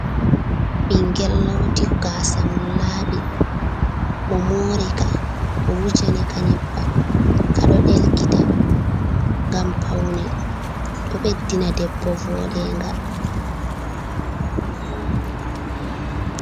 Ɓingel loti gaasa mun laaɓi, o mori ka, o wujani ka nyebam, kwaɗo ɗelkita ngam paune, ɗo ɓeddina debbo voɗenga.